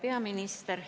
Hea peaminister!